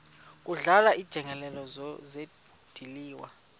kudlala iinjengele zidliwa